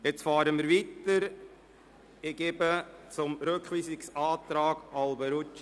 Wir fahren mit der Beratung des Rückweisungsantrags Alberucci und Egger, glp, weiter.